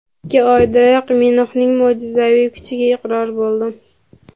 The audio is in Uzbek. Ikki oydayoq Minox ’ning mo‘jizaviy kuchiga iqror bo‘ldim.